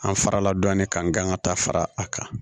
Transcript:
An farala dɔɔnin kan ka taa fara a kan